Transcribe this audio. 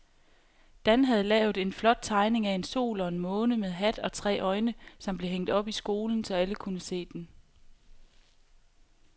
Dan havde lavet en flot tegning af en sol og en måne med hat og tre øjne, som blev hængt op i skolen, så alle kunne se den.